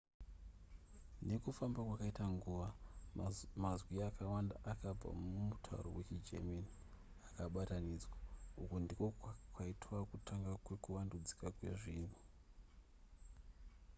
nekufamba kwaiita nguva mazwi akawanda akabva kumutauro wechigerman akabatanidzwa uku ndiko kwaitova kutanga kuvandudzika kwezvinhu